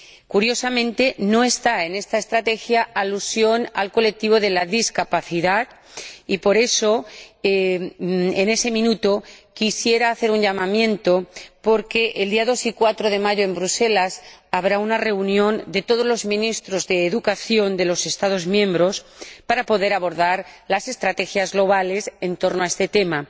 Curiosamente, no hay en esta estrategia alusión al colectivo de las personas con discapacidad y por eso, en este minuto, quisiera hacer un llamamiento, dado que los días 2 y 4 de mayo, habrá en Bruselas una reunión de todos los Ministros de Educación de los Estados miembros, para poder abordar las estrategias globales en torno a este tema.